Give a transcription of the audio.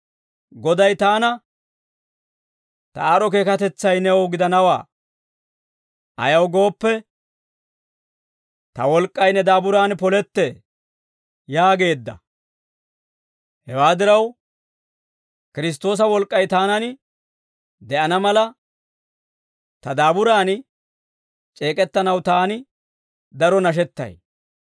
Goday taana, «Ta aad'd'o keekatetsay new gidanawaa; ayaw gooppe, ta wolk'k'ay ne daaburan polettee» yaageedda; hewaa diraw, Kiristtoosa wolk'k'ay taanan de'ana mala, ta daaburan c'eek'ettanaw taani daro nashettay.